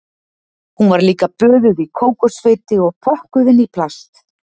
Hún var líka böðuð í kókosfeiti og pökkuð inn í plast